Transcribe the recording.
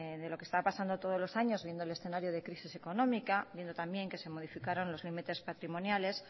de lo que está pasando todos los años viendo el escenario de crisis económica viendo también que se modificaron los límites patrimoniales